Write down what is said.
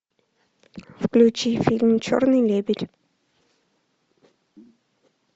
включи фильм черный лебедь